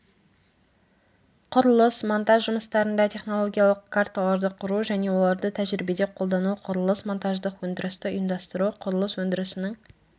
құрылыс монтаж жұмыстарында технологиялық карталарды құру және оларды тәжірибеде қолдану құрылыс монтаждық өндірісті ұйымдастыру құрылыс өндірісінің